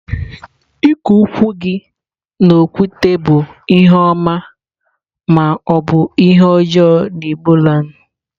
Iku ukwu gi n'okwute bu ihe oma ma obu ihe ojoo na igboland.